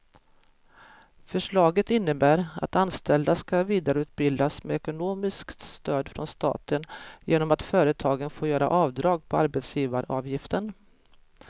Förslaget innebär att anställda ska vidareutbildas med ekonomiskt stöd från staten genom att företagen får göra avdrag på arbetsgivaravgiften.